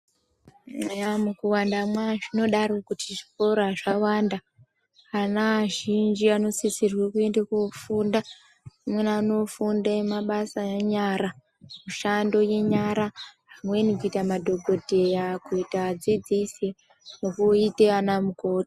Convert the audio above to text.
Eya mukuwandamwa zvinodaro kuti zvikora zvawanda ana azhinji anosisirwe kuenda kofunda amweni anofunde mabasa enyara. Mishando yenyara. Zvimweni kuite madhokodheya kuite adzidzisi nekuite ana mukoti.